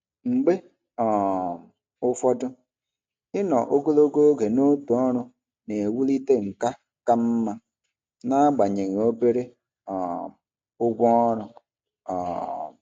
Mgbe um ụfọdụ, ịnọ ogologo oge n'otu ọrụ na-ewulite nkà ka mma n'agbanyeghị obere um ụgwọ ọrụ. um